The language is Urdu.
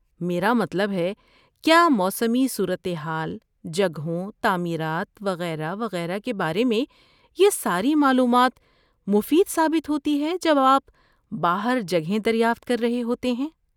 میرا مطلب ہے، کیا موسمی صورت حال، جگہوں، تعمیرات وغیرہ وغیرہ کے بارے میں یہ ساری معلومات مفید ثابت ہوتی ہے جب آپ باہر جگہیں دریافت کر رہے ہوتے ہیں؟